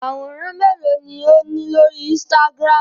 Àwòrán mélòó ni ó ní lórí Instagram?